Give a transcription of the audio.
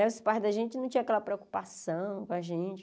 Os pais da gente não tinham aquela preocupação com a gente.